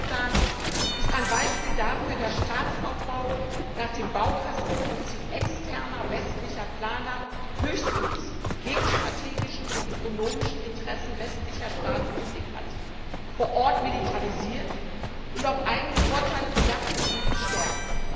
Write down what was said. Der Südsudan ist ein Beispiel dafür, dass Staatsaufbau nach dem Baukastenprinzip externer westlicher Planer höchstens die geostrategischen und ökonomischen Interessen westlicher Staaten im Blick hat, vor Ort militarisiert und auf eigene Vorteile bedachte Eliten stärkt.